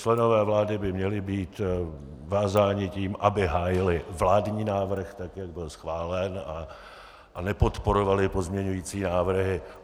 Členové vlády by měli být vázáni tím, aby hájili vládní návrh, tak jak byl schválen, a nepodporovali pozměňovací návrhy.